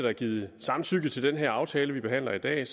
er givet samtykke til den her aftale vi behandler i dag